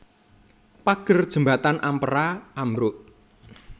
Pager jembatan Ampera ambruk